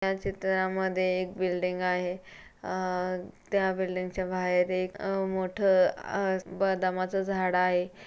या चित्रामध्ये एक बिल्डिंग आहे. अह त्या बिल्डींगच्या बाहेर एक अह मोठं बदामाच झाड आहे.